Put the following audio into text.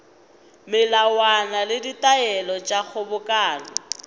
melawana le ditaelo tša kgobokano